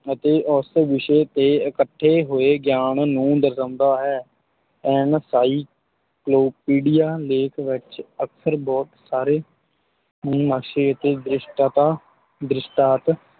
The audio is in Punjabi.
ਅਤੇ ਉਸ ਵਿਸ਼ੇ 'ਤੇ ਇਕੱਠੇ ਹੋਏ ਗਿਆਨ ਨੂੰ ਦਰਸਾਉਂਦਾ ਹੈ encyclopedia ਲੇਖ ਵਿੱਚ ਅਕਸਰ ਬਹੁਤ ਸਾਰੇ ਨਕਸ਼ੇ ਅਤੇ ਦ੍ਰਿਸ਼ਟਤਤਾ ਦ੍ਰਿਸ਼ਟਾਂਤ